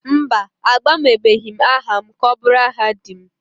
Mba, agbanwebeghị m aha m ka ọ bụrụ aha di m